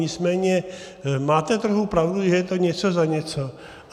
Nicméně máte trochu pravdu, že to je něco za něco.